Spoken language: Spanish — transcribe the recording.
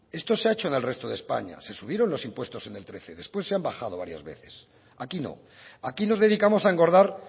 esto se ha hecho en el resto de españa se subieron los impuestos en el trece después se han bajado varias veces aquí no aquí nos dedicamos a engordar